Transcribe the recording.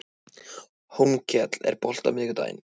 Hólmkell, er bolti á miðvikudaginn?